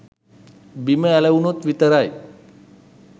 බිම ඇලවුනොත් විතරයි